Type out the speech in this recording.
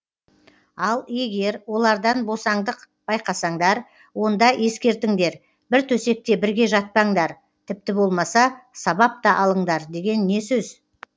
ал егер олардан босаңдық байқасаңдар онда ескертіңдер бір төсекте бірге жатпаңдар тіпті болмаса сабап та алыңдар деген не сөз